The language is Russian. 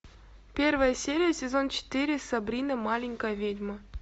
первая серия сезон четыре сабрина маленькая ведьма